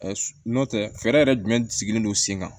nɔntɛ fɛɛrɛ yɛrɛ jumɛn sigilen don sen kan